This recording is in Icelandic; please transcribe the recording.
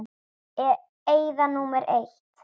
Eyða númer eitt.